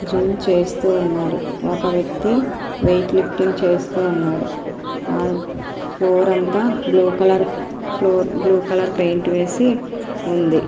Gym చేస్తూ ఉన్నారు ఒక వ్యక్తి వెయిట్ లిఫ్టింగ్ చేస్తున్నారు ఆ ఫ్లోర్ అంతా blue colour floor blue colour paint వేసి ఉంది.